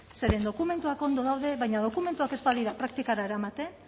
zeren dokumentuak ondo daude baina dokumentuak ez badira praktikara eramaten